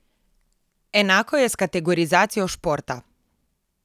Enako je s kategorizacijo športa.